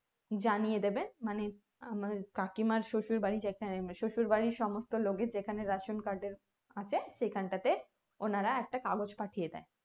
জানিয়ে দেবে মানে কাকিমার শশুর বাড়ি যে খানে শশুর বাড়ির সমস্ত লোকের যেখানে ration card এর আছে সেখানটাতে ওনারা একটা কাগজ পাঠিয়ে দেয়